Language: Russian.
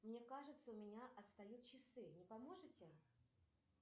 мне кажется у меня отстают часы не поможете